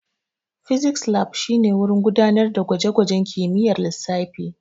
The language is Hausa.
Physics Lab shine wurin gudanar da gwaje-gwajen kimiyyar lissafi.